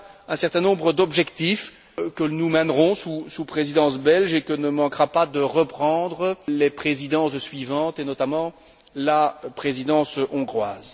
Voilà un certain nombre d'objectifs que nous mènerons sous Présidence belge et que ne manqueront pas de reprendre les Présidences suivantes, et notamment la Présidence hongroise.